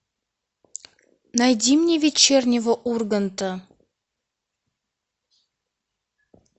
найди мне вечернего урганта